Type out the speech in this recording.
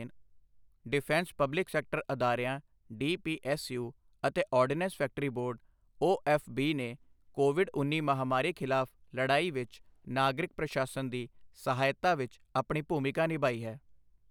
Defence public sector ਅਦਾਰਿਆਂ DPSU ਅਤੇ ordnance factory board OFB ਨੇ ਕੋਵਿਡ ਉੱਨੀ ਮਹਾਮਾਰੀ ਖਿਲਾਫ਼ ਲੜਾਈ ਵਿੱਚ ਨਾਗਰਿਕ ਪ੍ਰਸ਼ਾਸਨ ਦੀ ਸਹਾਇਤਾ ਵਿੱਚ ਆਪਣੀ ਭੂਮਿਕਾ ਨਿਭਾਈ ਹੈ।